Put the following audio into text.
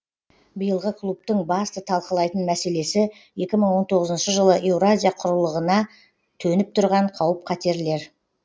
биылғы клубтың басты талқылайтын мәселесі екі мың он тоғызыншы жылы еуразия құрлығына төніп тұрған қауіп қатерлер